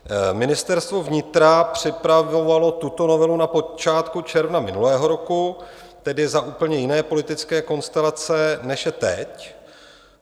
Ministerstvo vnitra připravovalo tuto novelu na počátku června minulého roku, tedy za úplně jiné politické konstelace, než je teď.